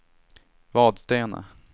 Vadstena